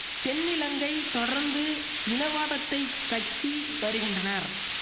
தென்னிலங்கை தொடர்ந்து இனவாதத்தை கக்கி வருகின்றனர்